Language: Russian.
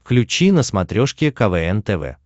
включи на смотрешке квн тв